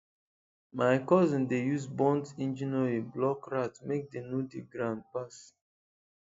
my cousin dey use burnt engine oil block rat make dem no dig ground pass